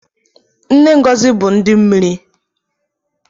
Nne ngozi bu ndi mmiri